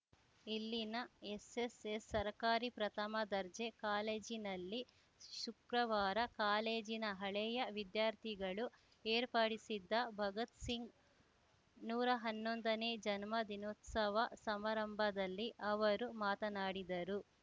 ಇಲ್ಲಿನ ಎಸ್‌ಎಸ್‌ಎಸ್‌ ಸರಕಾರಿ ಪ್ರಥಮ ದರ್ಜೆ ಕಾಲೇಜಿನಲ್ಲಿ ಶುಕ್ರವಾರ ಕಾಲೇಜಿನ ಹಳೆಯ ವಿದ್ಯಾರ್ಥಿಗಳು ಏರ್ಪಡಿಸಿದ್ದ ಭಗತ್‌ ಸಿಂಗ್‌ ನೂರಾ ಹನ್ನೊಂದನೇ ಜನ್ಮದಿನೋತ್ಸವ ಸಮಾರಂಭದಲ್ಲಿ ಅವರು ಮಾತನಾಡಿದರು